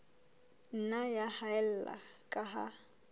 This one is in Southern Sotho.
nna ya haella ka ha